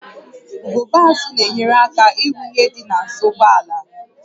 Ugogbe azụ na-enyere aka ịhụ ihe dị n'azụ ụgbọ ala